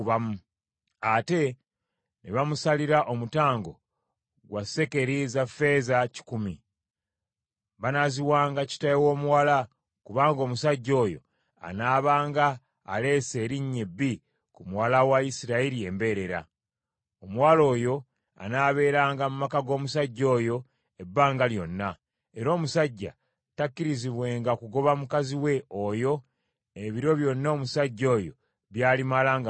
Ate ne bamusalira omutango gwa sekeri za ffeeza kikumi ; banaaziwanga kitaawe w’omuwala; kubanga omusajja oyo anaabanga aleese erinnya ebbi ku muwala wa Isirayiri embeerera. Omuwala oyo anaabeeranga mu maka g’omusajja oyo ebbanga lyonna, era omusajja takkirizibwenga kugoba mukazi we oyo ebiro byonna omusajja oyo by’alimala nga mulamu.